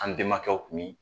An bɛmakɛw kun bi